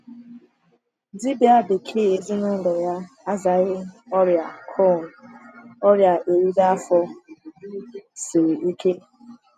Dibia bekee ezinụlọ ya azaghị ọrịa Crohn, ọrịa eriri afọ siri ike.